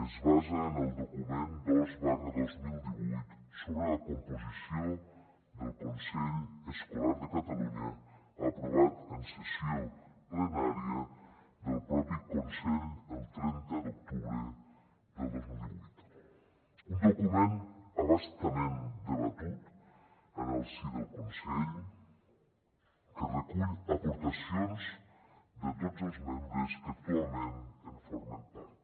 es basa en el document dos dos mil vuit sobre la composició del consell escolar de catalunya aprovat en sessió plenària del propi consell el trenta d’octubre del dos mil divuit un document a bastament debatut en el si del consell que recull aportacions de tots els membres que actualment en formen part